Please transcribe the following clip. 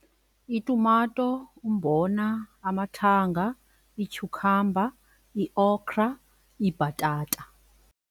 Itumato, umbona, amathanga, ityhukhamba, iokra, ibhatata.